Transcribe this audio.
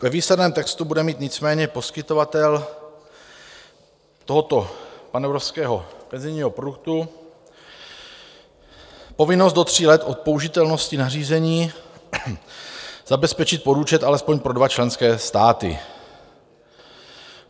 Ve výsledném textu bude mít nicméně poskytovatel tohoto panevropského penzijního produktu povinnosti do tří let od použitelnosti nařízení zabezpečit podúčet alespoň pro dva členské státy.